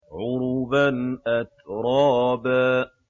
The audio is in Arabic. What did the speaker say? عُرُبًا أَتْرَابًا